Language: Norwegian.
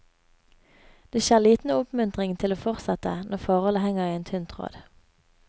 Det skjer liten oppmuntring til å fortsette når forholdet henger i en tynn tråd.